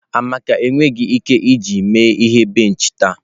Amaka enweghị ike iji mee ihe benchi taa.